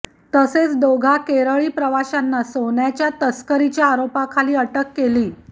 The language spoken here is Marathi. तसेच दोघा केरळी प्रवाशांना सोन्याच्या तस्करीच्या आरोपाखाली अटकही केली